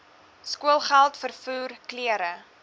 skoolgeld vervoer klere